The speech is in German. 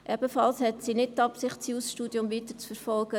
Sie hat auch nicht die Absicht, das Jus-Studium weiterzuverfolgen.